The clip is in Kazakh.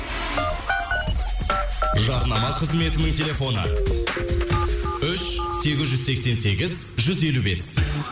жарнама қызметінің телефоны үш сегіз жүз сексен сегіз жүз елу бес